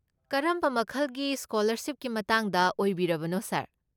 ꯀꯔꯝꯕ ꯃꯈꯜꯒꯤ ꯁ꯭ꯀꯣꯂꯔꯁꯤꯞꯀꯤ ꯃꯇꯥꯡꯗ ꯑꯣꯏꯕꯤꯔꯕꯅꯣ, ꯁꯥꯔ?